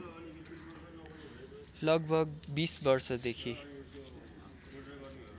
लगभग २० वर्षदेखि